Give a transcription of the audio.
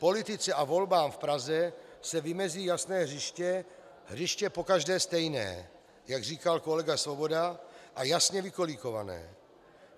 Politice a volbám v Praze se vymezí jasné hřiště, hřiště pokaždé stejné, jak říkal kolega Svoboda, a jasně vykolíkované.